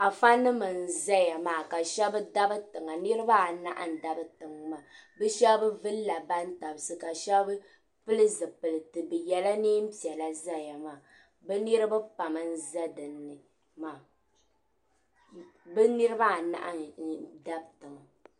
Afanim n zaya maa ka shɛb dabi tiŋa niribaanahi n dabiya maa bɛ shɛb vulila bantabisi ka shɛb pili zipiliti ka ye nɛɛn piɛla n zaya maa bɛ niribi pam n za din ni maa bɛ niribaanahi n dabi tiŋa.